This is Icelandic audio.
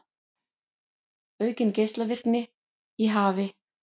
Aukin geislavirkni í hafi